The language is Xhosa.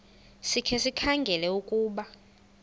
sikhe sikhangele ukuba